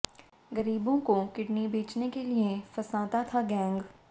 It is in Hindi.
गरीबों को किडनी बेचने के लिए फंसाता था गैंग